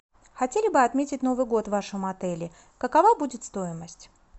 хотели бы отметить новый год в вашем отеле какова будет стоимость